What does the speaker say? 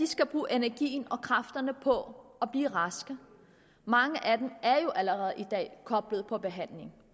skal bruge energien og kræfterne på at blive raske mange af dem er jo allerede i dag koblet på behandling